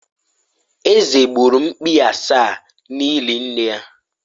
Eze gburu mkpi asaa n'ili nne ya